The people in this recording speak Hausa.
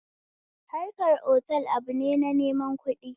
Harkan otal abune na neman kuɗi